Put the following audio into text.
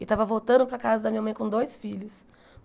E tava voltando para a casa da minha mãe com dois filhos.